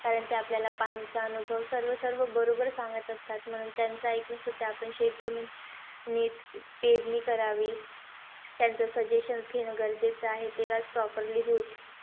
कारण ते आपल्याला पाणीचं अनुभव, सर्व-सर्व बरोबर सांगत असतात. म्हणून त्याचं एकूण सुद्धा आपण शेतजमीन नीट पेरणी करावी. त्यांचं suggestions घेणं गरजेचं आहे. तेव्हाचं properly होईल.